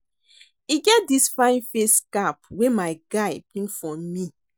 E get dis fine face cap wey my guy bring for me